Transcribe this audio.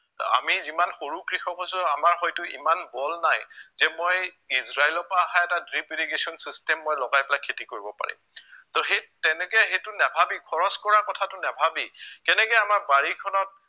আমি যিমান সৰু কৃষক হৈছো আমাৰ হয়তো ইমান বল নাই যে মই ইজৰাইলৰ পৰা অহা এটা drip irrigation system মই লগাই পেলাই খেতি কৰিব পাৰিম তহ সেই তেনেকে সেইটো নাভাবি খৰছ কৰা কথাটো নাভাবি কেনেকে আমাৰ বাৰিখনত